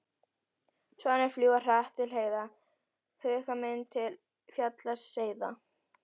Svanir fljúga hratt til heiða, huga minn til fjalla seiða.